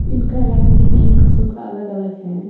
.انکا لانگ بھی تین کسو کا الگ الگ ہیں